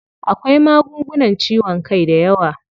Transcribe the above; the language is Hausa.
Akwai magungunan ciwon kai dayawa.